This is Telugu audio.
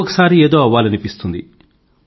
ఒకసారి ఏదో అవ్వాలనిపిస్తుంది